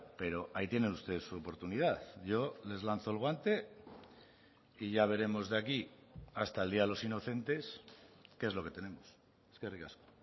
pero ahí tienen ustedes su oportunidad yo les lanzo el guante y ya veremos de aquí hasta el día de los inocentes qué es lo que tenemos eskerrik asko